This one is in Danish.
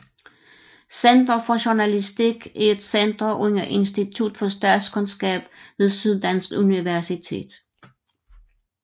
Center for Journalistik er et center under Institut for Statskundskab ved Syddansk Universitet